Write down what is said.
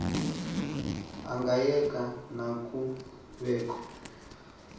angayeka na kubekho